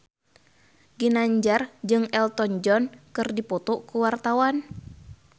Ginanjar jeung Elton John keur dipoto ku wartawan